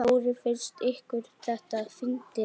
Þórir: Finnst ykkur þetta fyndið?